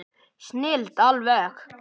Snilld alveg!